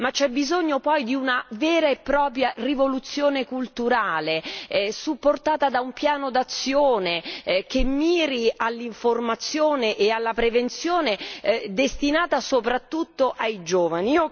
Ma c'è bisogno poi di una vera e propria rivoluzione culturale, supportata da un piano d'azione che miri all'informazione e alla prevenzione destinata soprattutto ai giovani.